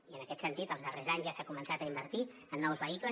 i en aquest sentit els darrers anys ja s’ha començat a invertir en nous vehicles